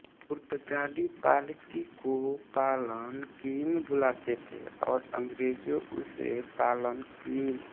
पुर्तगाली पालकी को पालन क्वीम बुलाते थे और अंग्रेजों उसे पालन क्वीन